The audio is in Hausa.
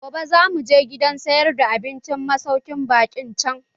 Gobe zamu je gidan sayar da abincin masaukin baƙin can.